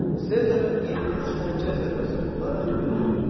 Sezara 23 xəncər zərbəsi vurularaq öldürüldü.